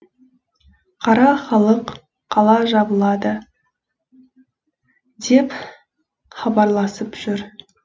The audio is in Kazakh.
қара халық қала жабылады деп хабарласып жүр